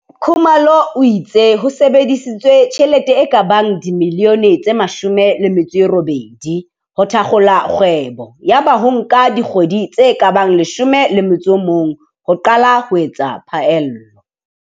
Khumalo o itse ho sebedisitswe tjhelete e ka bang R18 milione ho thakgola kgwebo yaba ho nka dikgwe di tse ka bang 11 ho qala ho etsa phaello.